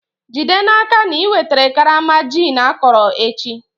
Jide n'aka na i wetara karama gin akọrọ echi!